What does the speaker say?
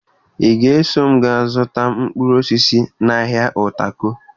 Ị ga-eso m gaa zụta mkpụrụ osisi n'ahịa Utako